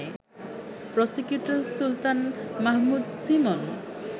prosecutor Sultan Mahmud Simon